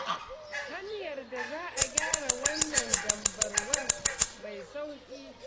Hanyar da za a gyara wannan dambarwar mai sauƙi ce.